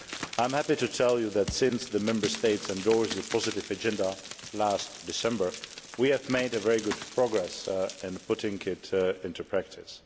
I am happy to tell you that since the Member States endorsed the positive agenda last December we have made very good progress in putting it into practice.